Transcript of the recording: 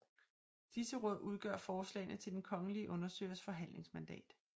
Disse råd udgør forslagene til den kongelige undersøgers forhandlingsmandat